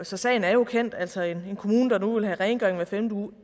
så sagen er jo kendt altså en kommune der nu vil have rengøring hver femte uge og